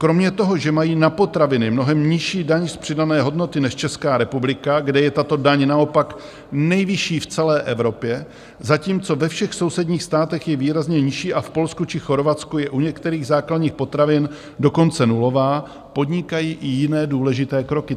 Kromě toho, že mají na potraviny mnohem nižší daň z přidané hodnoty než Česká republika, kde je tato daň naopak nejvyšší v celé Evropě, zatímco ve všech sousedních státech je výrazně nižší a v Polsku či Chorvatsku je u některých základních potravin dokonce nulová, podnikají i jiné důležité kroky.